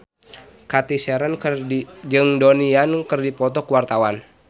Cathy Sharon jeung Donnie Yan keur dipoto ku wartawan